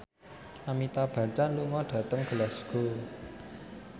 Amitabh Bachchan lunga dhateng Glasgow